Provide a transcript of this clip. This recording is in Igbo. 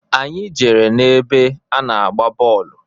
Anyị jere n'ebe a na-agba bọlụ.